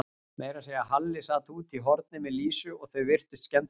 Meira að segja Halli sat úti í horni með Lísu og þau virtust skemmta sér.